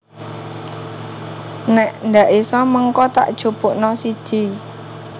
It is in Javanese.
Nek ndak iso mengko tak jupukno siji